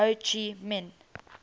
ho chi minh